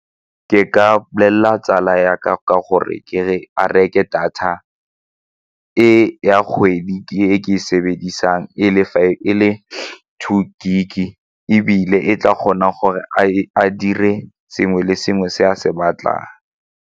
Ke ka bolela tsala ya ka ka gore a reke data e ya kgwedi ke e sebedisang e le two gig-e ebile e tla kgona gore a dire sengwe le sengwe se a se batlang.